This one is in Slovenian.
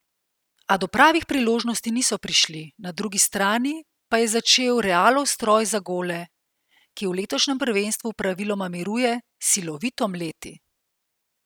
A do pravih priložnosti niso prišli, na drugi strani pa je začel Realov stroj za gole, ki v letošnjem prvenstvu praviloma miruje, silovito mleti.